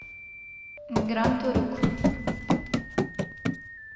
гранд урюк